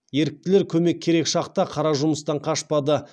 еріктілер көмек керек шақта қара жұмыстан қашпады